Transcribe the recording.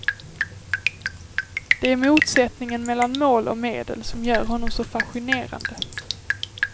Det är motsättningen mellan mål och medel som gör honom så fascinerande.